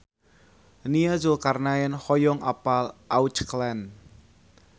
Nia Zulkarnaen hoyong apal Auckland